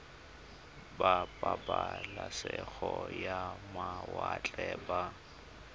ba pabalesego ya mawatle ba